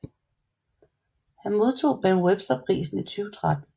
Han modtog Ben Webster Prisen i 2013